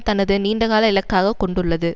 தனது நீண்டகால இலக்காக கொண்டுள்ளது